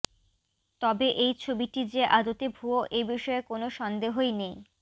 তবে এই ছবিটি যে আদতে ভুয়ো এ বিষয়ে কোনও সন্দেহই নেই